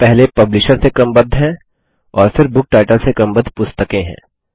यहाँ पहले पब्लिशर से क्रमबद्ध है और फिर बुक टाइटल से क्रमबद्ध पुस्तकें हैं